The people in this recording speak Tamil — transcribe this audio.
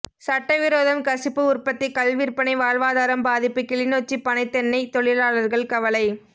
சட்டவிரோதம் கசிப்பு உற்பத்தி கள் விற்பனை வாழ்வாதாரம் பாதிப்பு கிளிநொச்சி பனை தென்னை தொழிலாளர்கள் கவலை